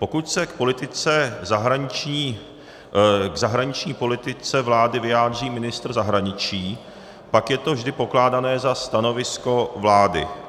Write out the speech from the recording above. Pokud se k zahraniční politice vlády vyjádří ministr zahraničí, pak je to vždy pokládané za stanovisko vlády.